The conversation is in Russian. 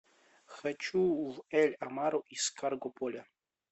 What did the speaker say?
хочу в эль амару из каргополя